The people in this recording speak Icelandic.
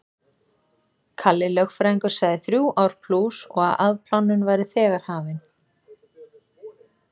Kalli lögfræðingur sagði þrjú ár plús og að afplánun væri þegar hafin.